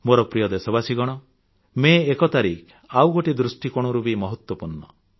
ମୋର ପ୍ରିୟ ଦେଶବାସୀଗଣ ମେ ୧ ତାରିଖ ଆଉ ଗୋଟିଏ ଦୃଷ୍ଟିକୋଣରୁ ବି ମହତ୍ୱପୂର୍ଣ୍ଣ